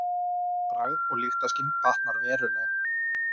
Bragð og lyktarskyn batnar verulega.